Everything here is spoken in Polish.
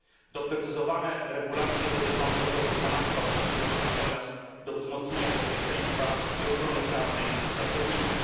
Doprecyzowane regulacje dotyczące podwykonawstwa przyczynią się natomiast do wzmocnienia bezpieczeństwa i ochrony prawnej pracowników.